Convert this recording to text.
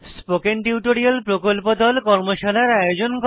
spoken tutorial প্রকল্প দল কর্মশালার আয়োজন করে